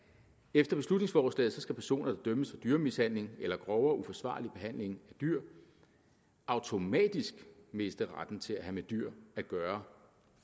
efter beslutningsforslaget skal personer der dømmes for dyremishandling eller grovere uforsvarlig behandling af dyr automatisk miste retten til at have med dyr at gøre